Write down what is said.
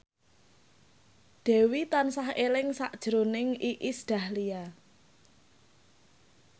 Dewi tansah eling sakjroning Iis Dahlia